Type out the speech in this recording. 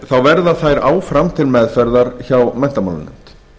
þá verða þær áfram til meðferðar hjá menntamálanefnd